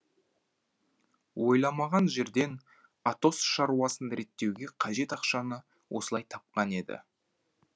ойламаған жерден атос шаруасын реттеуге қажет ақшаны осылай тапқан еді